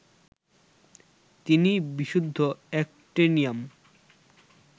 তিনি বিশুদ্ধ অ্যাক্টিনিয়াম